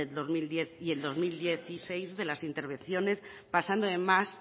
del dos mil diez y el dos mil dieciséis de las intervenciones pasando además